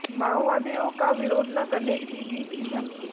माअोवादियों का विरोध न करने की दी थी धमकी